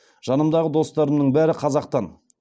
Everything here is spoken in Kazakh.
жанымдағы достарымның бәрі қазақтан